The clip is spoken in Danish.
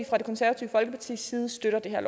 fra det konservative folkepartis side støtter det her